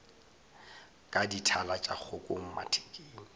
ka dithala tša kgokong mathekeng